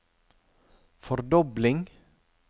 fordobling